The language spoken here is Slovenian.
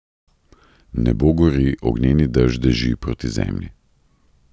Nebo gori, ognjeni dež deži proti zemlji.